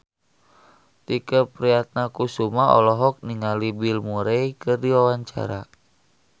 Tike Priatnakusuma olohok ningali Bill Murray keur diwawancara